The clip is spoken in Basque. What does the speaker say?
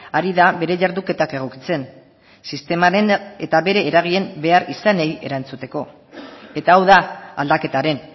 ari da bere jarduketak egokitzen sistemaren eta bere eragileen beharrizanei erantzuteko eta hau da aldaketaren